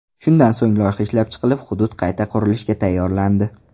Shundan so‘ng loyiha ishlab chiqilib, hudud qayta qurilishga tayyorlandi.